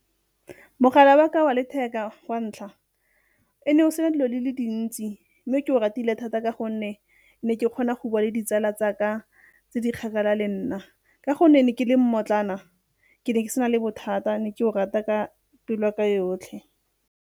Mogala wa ka wa letheka wa ntlha o ne o sena dilo di le dintsi mme ke o ratile thata ka gonne ne ke kgona go bua le ditsala tsa ka tse di kgakala le nna. Ka gonne ne ke le mmotlana ke ne ke sena le bothata ne ke o rata ka pelo ya ka yotlhe.